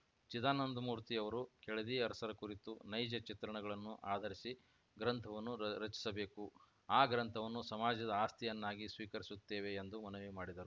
ಚಿದಾನಂದಮೂರ್ತಿ ಅವರು ಕೆಳದಿ ಅರಸರ ಕುರಿತು ನೈಜ ಚಿತ್ರಣಗಳನ್ನು ಆಧರಿಸಿ ಗ್ರಂಥವನ್ನು ರಚಿಸಬೇಕು ಆ ಗ್ರಂಥವನ್ನು ಸಮಾಜದ ಆಸ್ತಿಯನ್ನಾಗಿ ಸ್ವೀಕರಿಸುತ್ತೇವೆ ಎಂದು ಮನವಿ ಮಾಡಿದರು